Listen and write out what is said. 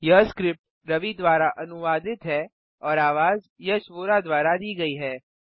यह स्क्रिप्ट रवि द्वारा अनुवादित है और आवाज वोरा द्वारा दी गई है